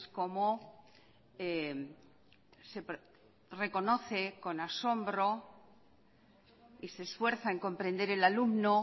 como reconoce con asombro y se esfuerza en comprender el alumno